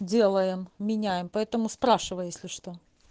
делаем меняем поэтому спрашивай если что